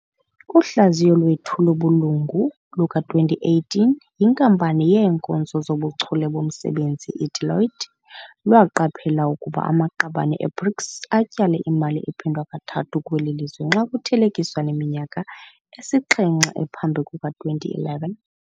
Uhlaziyo lwethu lobulungu luka-2018 yinkampani yeenkonzo zobuchule bomsebenzi i-Deloitte lwaqaphela ukuba amaqabane e-BRICS "atyale imali ephindwa kathathu kweli lizwe xa kuthelekiswa neminyaka esixhenxe ephambi kuka-2011".